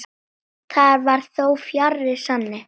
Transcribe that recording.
Það var þó fjarri sanni.